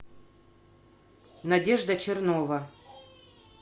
надежда чернова